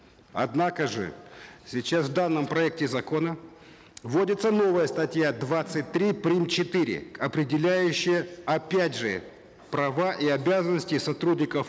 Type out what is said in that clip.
однако же сейчас в данном проекте закона вводится новая статья двадцать три прим четыре определяющая опять же права и обязанности сотрудников